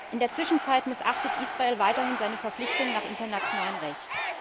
In der Zwischenzeit missachtet Israel weiterhin seine Verpflichtungen nach internationalem Recht.